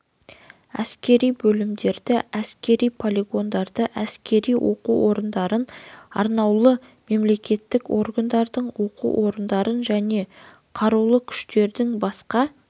әскери бөлімдерді әскери полигондарды әскери оқу орындарын арнаулы мемлекеттік органдардың оқу орындарын және қарулы күштердің басқа